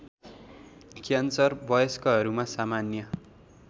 cancer वयस्कहरूमा सामान्य